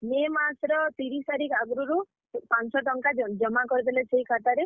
May ମାସ୍ ର ତିରିଶ୍ ତାରିଖ୍ ଆଗ୍ ରୁରୁ, ପାଞ୍ଚଶ ଟଙ୍କା ଜମା କରିଦେଲେ ସେହି ଖାତାରେ।